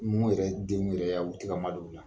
Ni mun yɛrɛ denw yɛrɛ y'a ye u tɛ ka ma don bilen.